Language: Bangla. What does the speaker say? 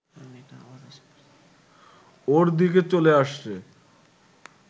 ওর দিকে চলে আসছে